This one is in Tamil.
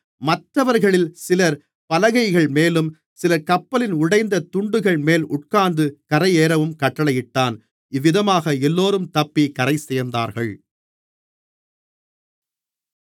மற்றவர்களில் சிலர் பலகைகள்மேலும் சிலர் கப்பலின் உடைந்த துண்டுகள்மேல் உட்கார்ந்து கரையேறவும் கட்டளையிட்டான் இவ்விதமாக எல்லோரும் தப்பிக் கரைசேர்ந்தார்கள்